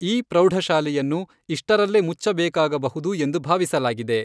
ಈ ಪ್ರೌಢಶಾಲೆಯನ್ನು ಇಷ್ಟರಲ್ಲೇ ಮುಚ್ಚಬೇಕಾಗಬಹುದು ಎಂದು ಭಾವಿಸಲಾಗಿದೆ.